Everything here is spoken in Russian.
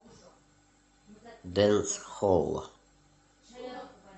дэнсхолл